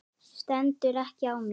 Stendur ekki á mér.